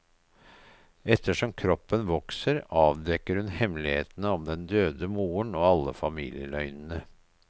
Etter som kroppen vokser, avdekker hun hemmelighetene om den døde moren og alle familieløgnene.